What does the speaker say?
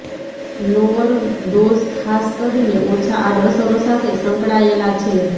lower dose ખાસ કરીને ઓછા આડઅસરો સાથે સંકળાયેલા છે